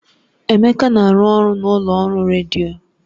Emeka na-arụ ọrụ na ụlọ ọrụ redio